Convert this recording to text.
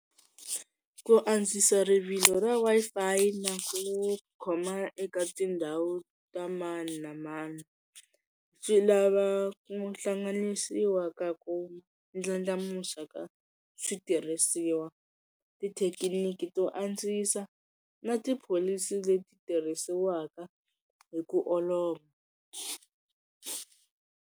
Ku antswisa rivilo ra Wi-Fi na ku khoma eka tindhawu ta mani na mani, swi lava ku hlanganisiwa ka ku ndlandlamuxa ka switirhisiwa, tithekiniki to antswisa na tipholisi leti tirhisiwaka hi ku olova.